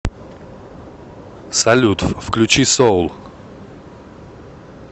салют включи соул